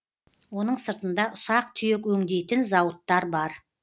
оның сыртында ұсақ түйек өңдейтін зауыттар бар